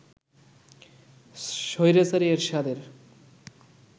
স্বৈরাচারী এরশাদের